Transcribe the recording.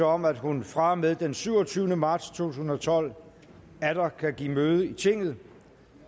om at hun fra og med den syvogtyvende marts to tusind og tolv atter kan give møde i tinget